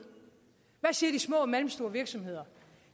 hvad siger de små og mellemstore virksomheder